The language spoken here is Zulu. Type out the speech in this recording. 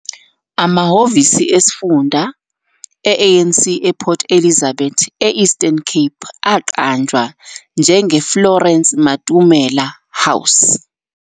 Amahhovisi esifunda e-ANC ePort Elizabeth, e-Eastern Cape aqanjwa njengeFlorence Matomela House.